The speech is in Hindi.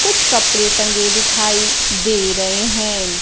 कुछ कपड़े टंगे दिखाई दे रहे है।